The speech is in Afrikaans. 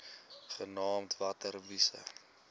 genaamd water wise